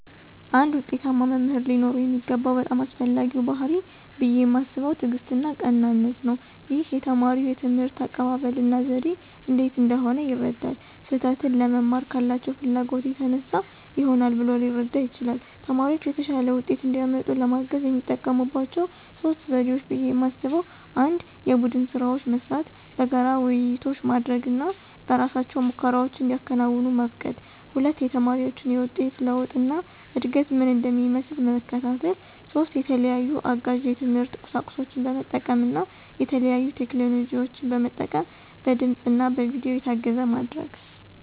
አንድ ዉጤታማ መምህር ሊኖረው የሚገባው በጣም አስፈላጊው ባሕርይ ብየ ማስበው ትዕግስትና ቀናነት ነው። ይህም የተማሪ የትምህርት አቀባበል እና ዘዴ እንዴት እንደሆነ ይረዳል። ስህተትን ለመማር ካላቸው ፍላጎት የተነሳ ይሆናል ብሎ ሊረዳ ይችላል። ተማሪዎች የተሻለ ውጤት እንዲያመጡ ለማገዝ የሚጠቀሙባቸው 3 ዘዴዎች ብየ ማስበው 1=የቡድን ስራዎች መስራት፣ በጋራ ውይይቶች ማድረግ እና በእራሳቸው ሙከራዎችን እንዲያከናውኑ መፍቀድ 2=የተማሪዎችን የውጤት ለውጥ እና እድገት ምን እንደሚመስል መከታተል። 3=የተለያዩ አጋዥ የትምህርት ቁሳቁሶችን በመጠቀም እና የተለያዩ ቴክኖሎጂን መጠቀም በድምፅ እና በቪዲዮ የታገዘ ማድረግ።